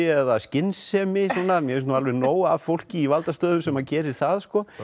eða skynsemi mér finnst nú alveg nóg af fólki í valdastöðum sem gerir það sko